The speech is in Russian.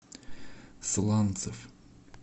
сланцев